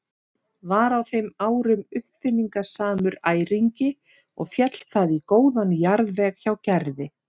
Var á þeim árum uppáfinningasamur æringi og féll það í góðan jarðveg hjá Gerði.